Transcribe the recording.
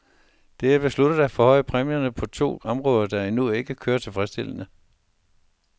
Det er besluttet at forhøje præmierne på to områder, der endnu ikke kører tilfredsstillende.